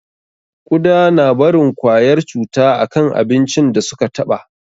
Ƙuda na barin kwayar cuta a kan abincin da su ka taɓa